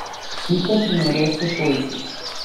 Slike primerjaj s sošolci.